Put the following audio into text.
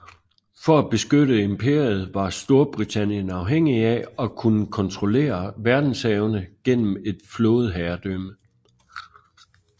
For at beskytte imperiet var Storbritannien afhængig af at kunne kontrollere verdenshavene gennem et flådeherredømme